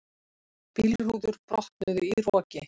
Bílrúður brotnuðu í roki